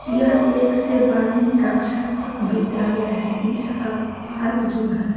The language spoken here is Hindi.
यह एक से बारहवीं कक्षा तक विद्यालय है इसका पार्क जो है--